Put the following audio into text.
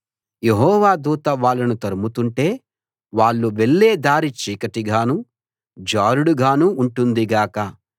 యెహోవా దూత వాళ్ళను తరుముతుంటే వాళ్ళు వెళ్ళే దారి చీకటిగానూ జారుడుగానూ ఉంటుంది గాక